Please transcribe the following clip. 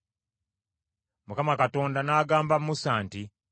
Mukama Katonda n’agamba Musa nti,